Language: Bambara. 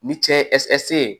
Ni cɛ ye ye